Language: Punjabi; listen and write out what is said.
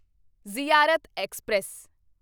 ਜ਼ਿਆਰਤ ਐਕਸਪ੍ਰੈਸ